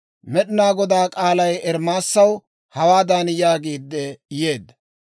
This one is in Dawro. Med'inaa Godaa k'aalay Ermaasaw hawaadan yaagiide yeedda;